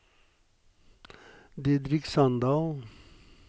Didrik Sandal